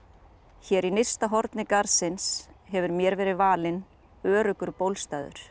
hér í nyrsta horni garðsins hefur mér verið valinn öruggur